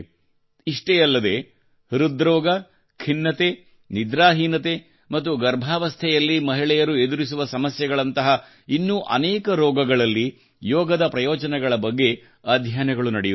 ಇಷ್ಟೇ ಅಲ್ಲದೆ ಹೃದ್ರೋಗ ಖಿನ್ನತೆ ನಿದ್ರಾಹೀನತೆ ಮತ್ತು ಗರ್ಭಾವಸ್ಥೆಯಲ್ಲಿ ಮಹಿಳೆಯರು ಎದುರಿಸುವ ಸಮಸ್ಯೆಗಳಂತಹ ಇನ್ನೂ ಅನೇಕ ರೋಗಗಳಲ್ಲಿ ಯೋಗದ ಪ್ರಯೋಜನಗಳ ಬಗ್ಗೆ ಅಧ್ಯಯನಗಳು ನಡೆಯುತ್ತಿವೆ